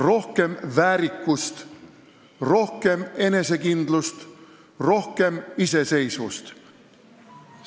Rohkem väärikust, rohkem enesekindlust, rohkem iseseisvust!